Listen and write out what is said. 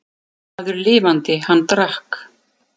Maður lifandi, hann drakk.